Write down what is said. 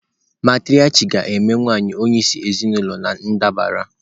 Matriarchy ga-eme nwanyị onyeisi ezinụlọ na ndabara.